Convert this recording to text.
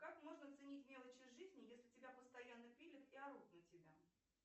как можно ценить мелочи жизни если тебя постоянно пилят и орут на тебя